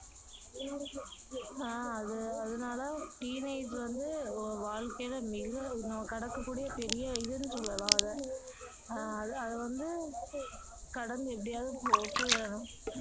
ஆஹ் அது அது அதுனால teenage வந்து வாழ்க்கையில மிக கடக்க கூடிய பெரிய இதுன்னு சொல்லலாம் அதை அஹ் அதை வந்து கடந்து எப்படியாவது